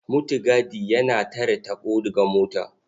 Mutigadi yana tare taɓo ga mota.